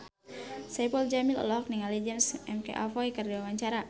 Saipul Jamil olohok ningali James McAvoy keur diwawancara